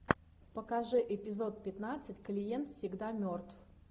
покажи эпизод пятнадцать клиент всегда мертв